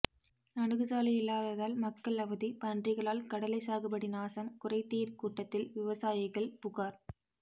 அணுகுச்சாலை இல்லாததால் மக்கள் அவதி பன்றிகளால் கடலை சாகுபடி நாசம் குறைதீர் கூட்டத்தில் விவசாயிகள் புகார்